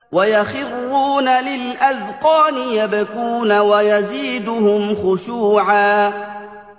وَيَخِرُّونَ لِلْأَذْقَانِ يَبْكُونَ وَيَزِيدُهُمْ خُشُوعًا ۩